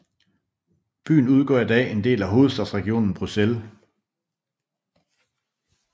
Byen udgør i dag en del af hovedstadsregionen Bruxelles